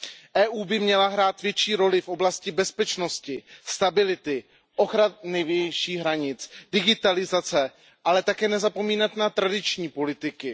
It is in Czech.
Evropská unie by měla hrát větší roli v oblasti bezpečnosti, stability, ochrany vnějších hranic, digitalizace, ale také nezapomínat na tradiční politiky.